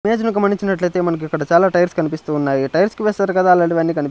image ను గమనించినట్లైతే మనకు ఇక్కడ చాలా టైర్స్ కనిపిస్తూ ఉన్నాయి టైర్స్ కి వేస్తారు కదా అలాంటివి కని--